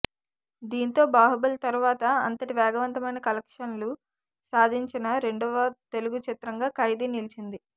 దీంతో బాహుబలి తరువాత అంతటి వేగవంతమైన కలెక్షన్లు సాదించిన రెండవ తెలుగు చిత్రంగా ఖైదీ నిలిచింది